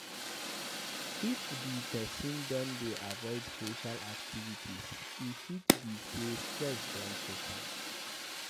If di person don dey avoid social activities, e fit be sey stress don choke am